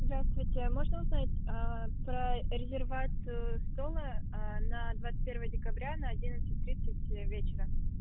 здравствуйте можно узнать про резервацию стола на двадцать первого декабря на одиннадцать тридцать вечера